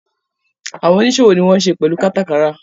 Àwọn oníṣòwò ni wọ́n ń se pẹ̀lú kátàkárà.